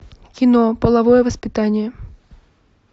кино половое воспитание